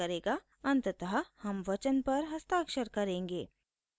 अंततः हम वचन पर हस्ताक्षर करेंगे